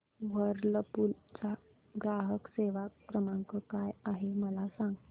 Whirlpool चा ग्राहक सेवा क्रमांक काय आहे मला सांग